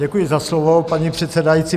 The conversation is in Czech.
Děkuji za slovo, paní předsedající.